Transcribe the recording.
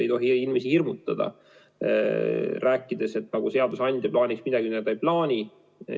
Ei tohi inimesi hirmutada, rääkides, et seadusandja plaanib midagi, mida ta ei plaani.